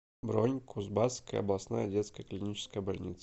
бронь кузбасская областная детская клиническая больница